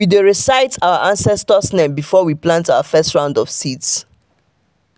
we dey recite our ancestors name before we plant our first round of seeds.